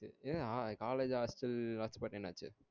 ஏ ஆஹ் college hostel hotspot என்ன ஆச்சி